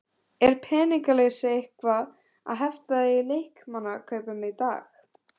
Er peningaleysi eitthvað að hefta þig í leikmannakaupum í dag?